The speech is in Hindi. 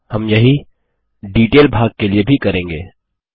हम यही डिटेल भाग के लिए भी करेंगे